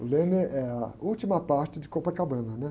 O leme é a última parte de Copacabana, né?